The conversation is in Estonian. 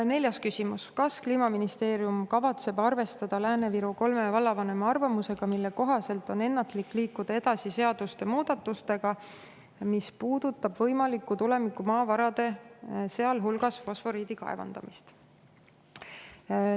Neljas küsimus: "Kas Kliimaministeerium kavatseb arvestada Lääne-Viru kolme vallavanema arvamusega, mille kohaselt on ennatlik liikuda edasi seaduste muudatustega, mis puudutab võimalikku tulevikumaavarade, sh fosforiidi kaevandamist?